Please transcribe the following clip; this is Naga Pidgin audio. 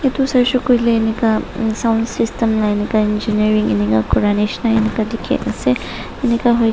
edu saishey koilae enika sound system la enika engeneering enika kura nishina enika dikhiase enika hoike--